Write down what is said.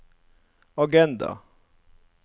agenda